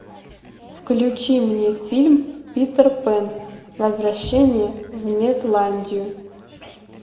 включи мне фильм питер пэн возвращение в нетландию